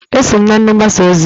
Eso m na ndị mgbasa ozi.